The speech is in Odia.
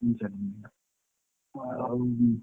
ତିନି ଚାରି ଦିନ ହେଲା ଆଉ।